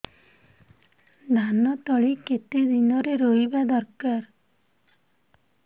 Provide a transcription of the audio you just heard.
ଧାନ ତଳି କେତେ ଦିନରେ ରୋଈବା ଦରକାର